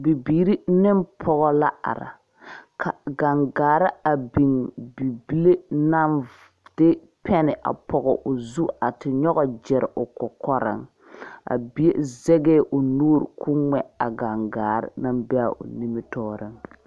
Bibiiri ne pɔge la are ka gaŋgare biŋ bibile naŋ de pɛne pɔg o zu a te nyɔge gire o kɔkɔriŋ bie ziŋɛɛ o nu ko ŋmɛ a gaŋgare naŋ be a o nimitɔɔriŋ.